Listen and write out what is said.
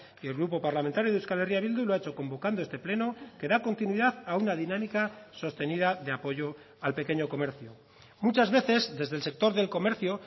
y el grupo parlamentario de euskal herria bildu lo ha hecho convocando este pleno que da continuidad a una dinámica sostenida de apoyo al pequeño comercio muchas veces desde el sector del comercio